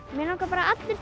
bara að allir